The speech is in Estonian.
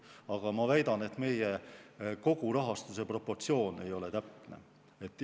Aga ma väidan, et meie kogurahastuse proportsioon ei ole täpne.